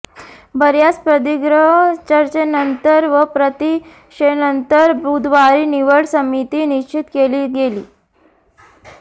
बऱयाच प्रदीर्घ चर्चेनंतर व प्रतीक्षेनंतर बुधवारी निवड समिती निश्चित केली गेली